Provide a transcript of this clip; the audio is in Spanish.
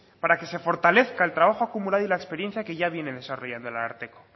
para que se fortalezca el trabajo acumulado y la experiencia que ya viene desarrollando el ararteko